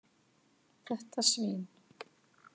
Þetta svín.